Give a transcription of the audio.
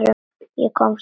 Ég komst aldrei út.